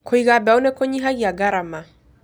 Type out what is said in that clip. Kũiga mbegũ nĩ kũnyihagia garama